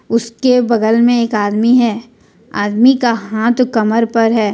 उसके बगल में एक आदमी है आदमी का हाथ कमर पर है।